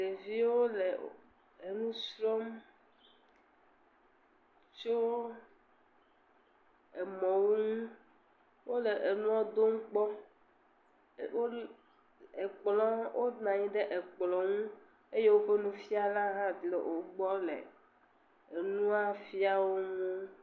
Ɖeviwo le enu srɔ̃m tso emɔwo ŋu, wole enuɔwo dom kpɔ. Wole, wo, ekplɔ, Wonɔ anɔ anyi ɖe ekplɔ ŋu eye woƒe nufiala hã le wo gbɔ le enua fiam wo.